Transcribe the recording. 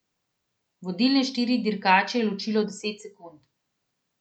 Vodilne štiri dirkače je ločilo deset sekund.